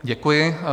Děkuji.